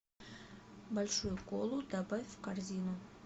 большую колу добавь в корзину